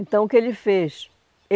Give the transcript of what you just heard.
Então, o que ele fez?